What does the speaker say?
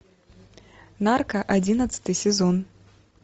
нарко одиннадцатый сезон